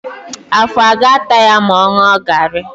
Afọ a ga-ata ya ma ọ ṅụọ garị?